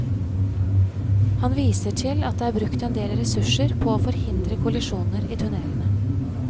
Han viser til at det er brukt endel ressurser på å forhindre kollisjoner i tunnelene.